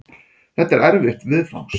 Þetta er erfitt viðfangs.